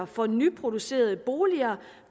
for nyproducerede boliger